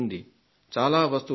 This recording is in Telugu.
చాలా వస్తువులు ఉంటాయి